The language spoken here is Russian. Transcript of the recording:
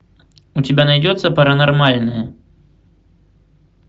у тебя найдется паранормальное